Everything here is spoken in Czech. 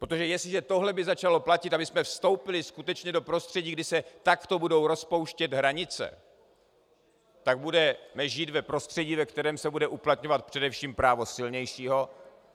Protože jestliže tohle by začalo platit a my jsme vstoupili skutečně do prostředí, kdy se takto budou rozpouštět hranice, tak budeme žít v prostředí, ve kterém se bude uplatňovat především právo silnějšího.